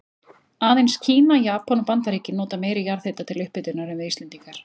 Aðeins Kína, Japan og Bandaríkin nota meiri jarðhita til upphitunar en við Íslendingar.